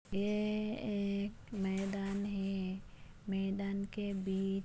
ये एक मैदान है मैदान के बीच --